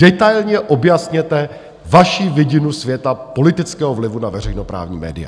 Detailně objasněte vaši vidinu světa, politického vlivu na veřejnoprávní média.